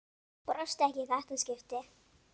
Brosti ekki í þetta skipti.